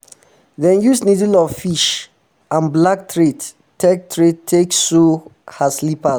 dem use needle of fish and black thread take thread take sew her slippers